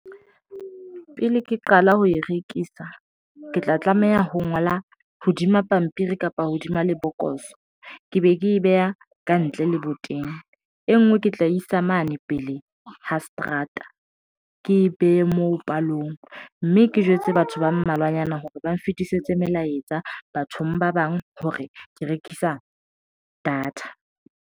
Pele ke qala ho e rekisa, ke tla tlameha ho ngola hodima pampiri kapa hodima lebokoso ke be ke e beha kantle leboteng e nngwe ke tla isa mane pele ho seterata, ke behe moo palong mme ke jwetse batho ba mmalwanyana hore ba nfetisetse melaetsa bathong ba bang hore ke rekisa data.